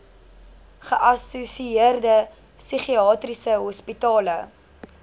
geassosieerde psigiatriese hospitale